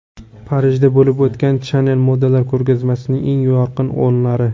Parijda bo‘lib o‘tgan Chanel modalar ko‘rgazmasining eng yorqin onlari.